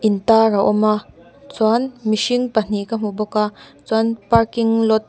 in tar a awm a chuan mihring pahnih ka hmu bawk a chuan parking lot .